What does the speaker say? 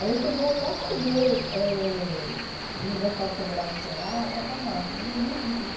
Aí eu cheguei até a fazer eh Universidade Federal no Ceará para farmácia, mas é muito difícil.